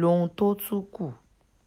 lohun tó tún kù um